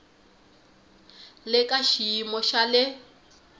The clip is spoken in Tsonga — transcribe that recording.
le ka xiyimo xa le